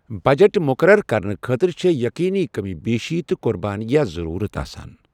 Budget مُقرر کرنہٕ خٲطرٕ چھےٚ ییٚقیٖنی کٔمی پیٖشی تہٕ قۄربٲنِیہٕ ضٔروٗرت آسان۔